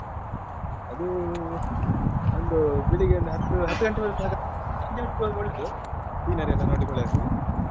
ಅದೂ ಒಂದು ಬೆಳಿಗ್ಗೆ ಒಂದು ಹತ್ತು ಹತ್ತು ಗಂಟೆಗೆ ಹೋದ್ರೆ ಸಾಕಾಗ್ತದೆ ಸಂಜೆ ಹೊತ್ತು ಹೋದ್ರೆ ಒಳ್ಳೇದು scenery ಎಲ್ಲ ನೋಡ್ಲಿಕ್ಕೆ ಒಳ್ಳೇದಾಗ್ತದೆ.